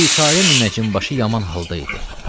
Bicarə münəccim başı yaman halda idi.